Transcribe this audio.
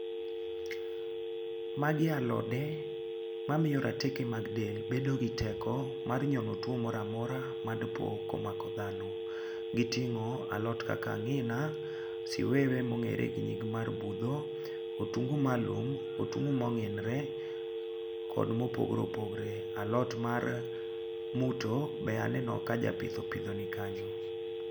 Magi alode mamiyo rateke mag del bedo gi teko mar nyono tuwo mora mora madipo komako dhano. Giting'o alot kaka ang'ina, siwewe mong'ere gi nying mar budho, otungu mar lum, otungu mong'inore kod mopogore opogore. Alot mar muto be aneno ka japitho, opidho nikanyo.